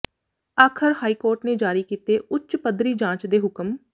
ਆਖ਼ਰ high court ਨੇ ਜਾਰੀ ਕੀਤੇ ਉਚ ਪਧਰੀ ਜਾਂਚ ਦੇ ਹੁਕਮ